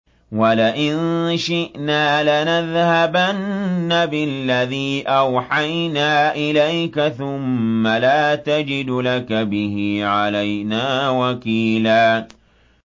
وَلَئِن شِئْنَا لَنَذْهَبَنَّ بِالَّذِي أَوْحَيْنَا إِلَيْكَ ثُمَّ لَا تَجِدُ لَكَ بِهِ عَلَيْنَا وَكِيلًا